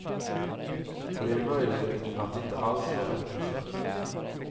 Och det är möjligt att det inte alls var bättre förr.